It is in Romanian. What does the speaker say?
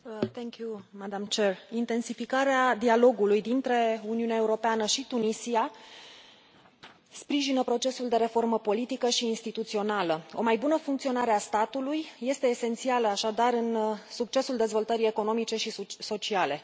Doamnă președintă, intensificarea dialogului dintre Uniunea Europeană și Tunisia sprijină procesul de reformă politică și instituțională. O mai bună funcționare a statului este esențială, așadar, în succesul dezvoltării economice și sociale.